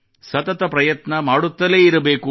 ಸತತ ಪ್ರಯತ್ನ ಮಾಡುತ್ತಲೇ ಇರಬೇಕು